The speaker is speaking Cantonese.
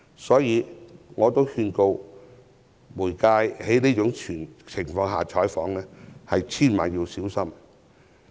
所以，我奉勸傳媒在這種情況下採訪要千萬小心。